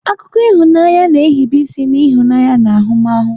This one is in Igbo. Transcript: Akụkọ ịhụnanya na-ehibe isi n'ịhụnanya na ahụmahụ.